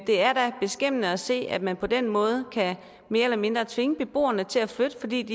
det er da beskæmmende at se at man på den måde mere eller mindre kan tvinge beboerne til at flytte fordi